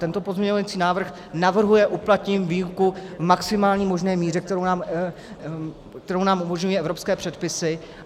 Tento pozměňovací návrh navrhuje uplatnit výjimku v maximální možné míře, kterou nám umožňují evropské předpisy.